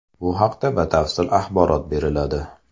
Bu haqda batafsil axborot beriladi.